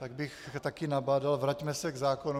Tak bych taky nabádal: Vraťme se k zákonu.